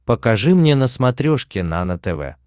покажи мне на смотрешке нано тв